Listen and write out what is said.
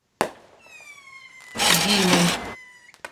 димой